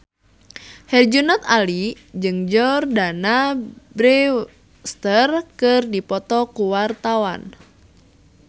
Herjunot Ali jeung Jordana Brewster keur dipoto ku wartawan